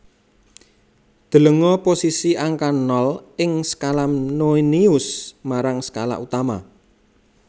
Delenga posisi angka nol ing skala nonius marang skala utama